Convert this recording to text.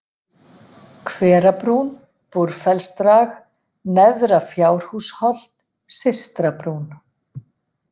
Hverabrún, Búrfellsdrag, Neðra-Fjárhúsholt, Systrabrún